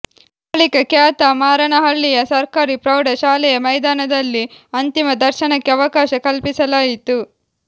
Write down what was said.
ಬಳಿಕ ಕ್ಯಾತಮಾರನಹಳ್ಳಿಯ ಸರ್ಕಾರಿ ಪ್ರೌಢ ಶಾಲೆಯ ಮೈದಾನದಲ್ಲಿ ಅಂತಿಮ ದರ್ಶನಕ್ಕೆ ಅವಕಾಶ ಕಲ್ಪಿಸಲಾಯಿತು